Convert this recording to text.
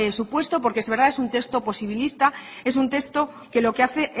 supuesto porque es verdad es un texto posibilista es un texto que lo que hace